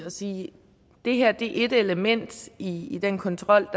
sige at det her er ét element i den kontrol